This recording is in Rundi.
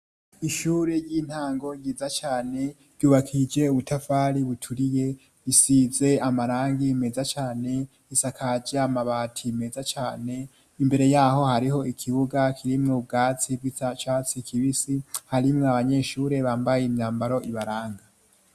Ishure ry'intango nyiza cane ryubakije ubutafari buturiye bisize amarangi meza cane isakaja mabati meza cane imbere yaho hariho ikibuga kirimwe ubwatsi bw'ia catsi kibisi harimwo abanyeshure bambaye imyambaro ibaranga.